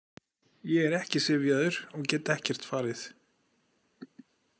Ég er ekki syfjaður og get ekkert farið.